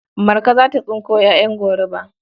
Marka za ta tsinko ƴaƴan goruba.